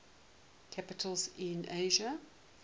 capitals in asia